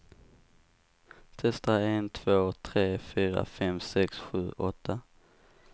Testar en två tre fyra fem sex sju åtta.